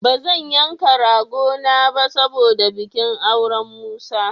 Ba zan yanka ragona ba saboda bikin auren Musa.